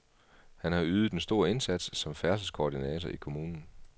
Han har ydet en stor indsats som færdselskoordinator i kommunen.